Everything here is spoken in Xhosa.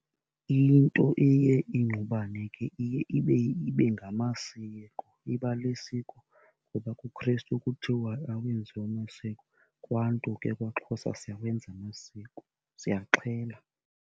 Into eye ingqubana ke iye ibe, ibe ngamasiko. Iba lisikolo ngoba kuKrestu kuthiwa awenziwa masiko, kwaNtu ke kwaXhosa siyawenza amasiko, siyaxhela.